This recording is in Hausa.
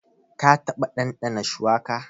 Ka taɓa ɗanɗana shuwaka?